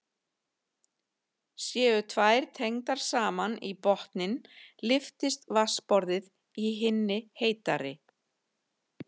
Séu þær tengdar saman í botninn lyftist vatnsborðið í hinni heitari.